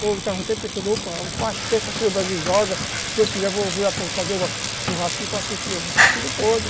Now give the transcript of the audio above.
opa, sexta-feira o Brasil joga, se vocês quiserem eu vou fazer um churrasquinho para assistir, mas já está tudo podre.